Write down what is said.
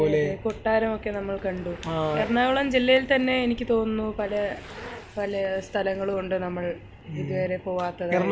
അതെ അതെ കൊട്ടാരം ഓക്കേ നമ്മൾ കണ്ടു എറണാകുളം ജില്ലയിൽ തന്നെ എനിക്ക് തോന്നുന്നു പല പല സ്ഥലങ്ങളും ഉണ്ട് നമ്മൾ ഇതുവരെ പോകാത്തത്